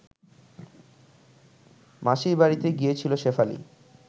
মাসির বাড়িতে গিয়েছিল শেফালি